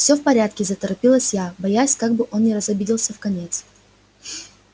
все в порядке заторопилась я боясь как бы он не разобиделся вконец